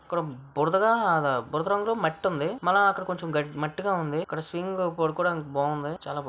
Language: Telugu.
ఇక్కడ బురదగా-బురద రంగు లో మట్టి ఉంది మల్లా అక్కడ కొంచెం గడ్-మట్టి గా ఉంది .ఇక్కడ స్వింగ్ పడుకోవడానికి బాగుంది చాలా బా --